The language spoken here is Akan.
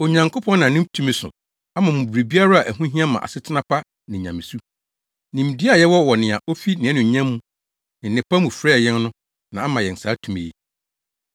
Onyankopɔn nam ne tumi so ama mo biribiara a ɛho hia ma asetena pa ne nyamesu. Nimdeɛ a yɛwɔ wɔ nea ofi nʼanuonyam ne nnepa mu frɛɛ yɛn no na ama yɛn saa tumi yi.